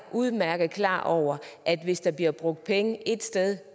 udmærket klar over at hvis der bliver brugt penge ét sted